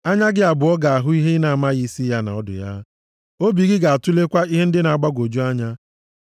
Anya gị abụọ ga-ahụ ihe ị na-amaghị isi ya na ọdụ ya, obi gị ga-atụlekwa ihe ndị na-agbagwoju anya.